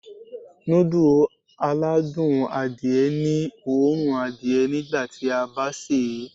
Núdù aládùn adìẹ ní òórùn adìẹ nígbàtí a bá sèé.